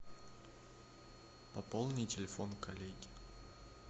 пополни телефон коллеги